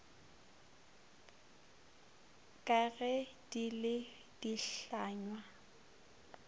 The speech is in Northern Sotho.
ka ge di le dihlangwa